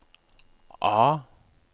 A